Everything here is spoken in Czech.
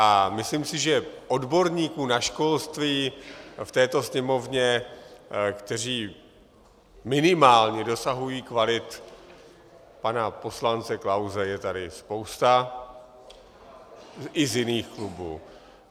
A myslím si, že odborníků na školství v této Sněmovně, kteří minimálně dosahují kvalit pana poslance Klause, je tady spousta i z jiných klubů.